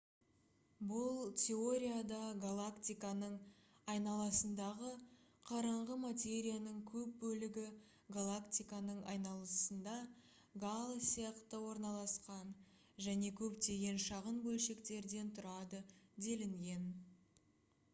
бұл теорияда галактиканың айналасындағы қараңғы материяның көп бөлігі галактиканың айналасында гало сияқты орналасқан және көптеген шағын бөлшектерден тұрады делінген